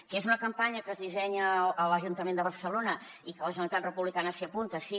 que és una campanya que es dissenya a l’ajuntament de barcelona i que la generalitat republicana s’hi apunta sí